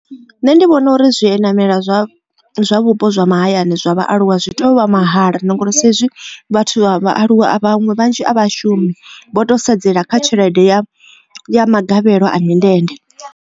Nṋe ndi vhona uri zwi namela zwa vhupo zwa mahayani zwa vhaaluwa zwi tea u vha mahala na ngori sa izwi vhathu vha vhaaluwa vhaṅwe vhanzhi a vha shumi vho to sedzela kha tshelede ya ya magavhelo a mindende.